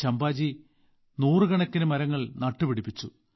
ചമ്പാജി നൂറുകണക്കിന് മരങ്ങൾ നട്ടുപിടിപ്പിച്ചു